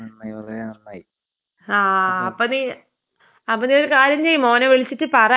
ആഹ് അപ്പൊ നീ അപ്പൊ നീ ഒരു കാര്യം ചെയ്യ്. മോനെ വിളിച്ചിട്ട് പറ എന്തായാലും ഇനി ഇപ്പൊ തിരിച്ചു വരാൻ.